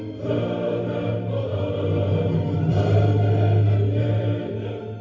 жырың болып төгілемін елім